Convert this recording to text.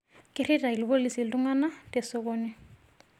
Kerita lpolisi ltungana tesokoni